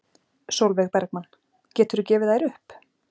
Sólveig Bergmann: Geturðu gefið þær upp?